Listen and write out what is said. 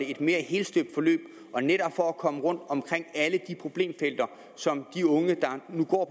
et mere helstøbt forløb og netop for at komme rundt omkring alle de problemfelter som de unge der nu går